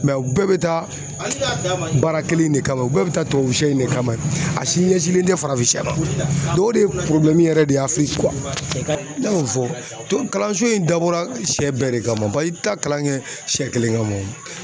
Mɛ u bɛɛ bɛ taa baara kelen de kama, u bɛɛ bɛ taa tubabu sɛ in de kama a si ɲɛsilen tɛ farafin sɛ ma, o de ye yɛrɛ de ye ne y'o fɔ kalanso in dabɔra sɛ bɛɛ de kama i bɛ taa kalan kɛ sɛ kelen kama o